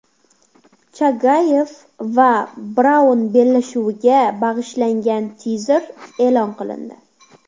Chagayev va Braun bellashuviga bag‘ishlangan tizer e’lon qilindi .